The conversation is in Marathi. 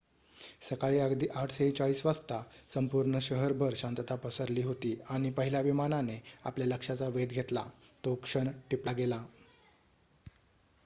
सकाळी अगदी 8:46 वाजता संपूर्ण शहरभर शांतता पसरली होती आणि पहिल्या विमानाने आपल्या लक्षाचा वेध घेतला तो क्षण टिपलागेला